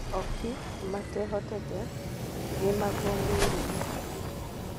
Ooki matehotete nĩ magũmĩireo nĩ korona